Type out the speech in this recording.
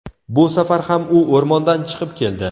Bu safar ham u o‘rmondan chiqib keldi.